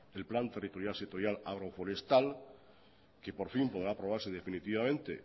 el plan territorial sectorial agroforestal que por fin podrá aprobarse definitivamente